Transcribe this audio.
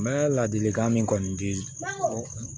N bɛ ladilikan min kɔni di